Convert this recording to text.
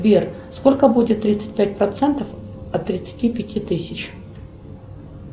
сбер сколько будет тридцать пять процентов от тридцати пяти тысяч